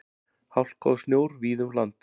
Hálka og snjór víða um land